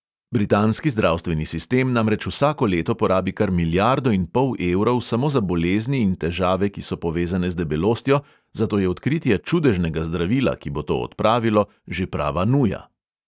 Britanski zdravstveni sistem namreč vsako leto porabi kar milijardo in pol evrov samo za bolezni in težave, ki so povezane z debelostjo, zato je odkritje čudežnega zdravila, ki bo to odpravilo, že prava nuja.